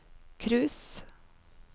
cruise